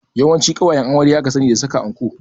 Yawanci ƙawayen amarya aka sani da saka anko